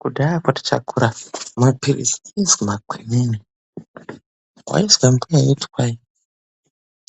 Kudhayakwo tichakura, maphirizi aizwi makwinini, waizwe mbuya eiti kwai